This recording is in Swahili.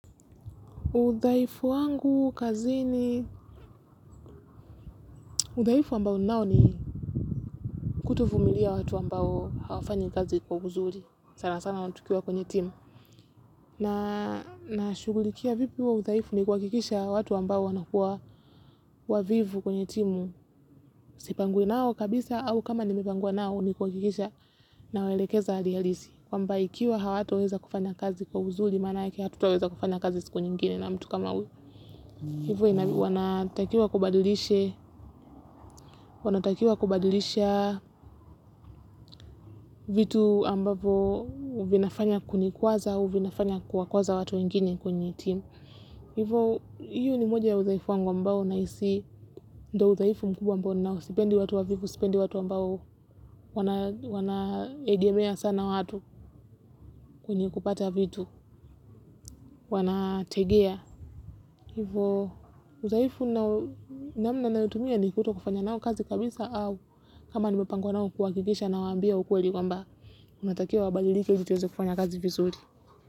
Udhaifu wangu kazini, udhaifu ambao nao ni kutovumilia watu ambao hawafanyi kazi kwa uzuri sana sana tukiwa kwenye timu na na shughulikia vipi huo udhaifu ni kuhakikisha watu ambao wanakuwa wavivu kwenye timu sipangwe nao kabisa au kama nimepangwa nao ni kuhakikisha nawaelekeza hali halisi kwamba ikiwa hawatoweza kufanya kazi kwa uzuri maanake hatutaweza kufanya kazi siku nyingine na mtu kama huyo. Hivo wanatakiwa kubadilisha, wanatakiwa kubadilisha vitu ambavo vinafanya kunikwaza au vinafanya kuwakwaza watu wengine kwenye timu. Hivo, hiyo ni moja ya udhaifu wangu ambao nahisi ndo udhaifu mkubwa ambao ninao sipendi watu wavivu, sipendi watu ambao wanaegemea sana watu kwenye kupata vitu, wanategea. Hivo udhaifu namna nayotumia ni kutokufanya nao kazi kabisa au kama nimepangwa nao kuhakikisha nawaambia ukweli kwamba wanatakiwa wabadilike ili tuweze kufanya kazi vizuri.